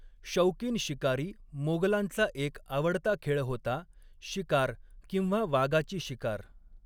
शौकीन शिकारी मोगलांचा एक आवडता खेळ होता शिकार, किंवा वाघाची शिकार.